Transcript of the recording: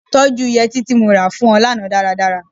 Tọ́jú yẹtí tí mo ra fún ọ lánàá dáradára.